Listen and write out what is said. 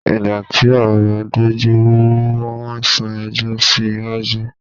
Ìgbà tí ọ̀rọ̀ dojú rú wọn sún ẹjọ́ sí iwájú.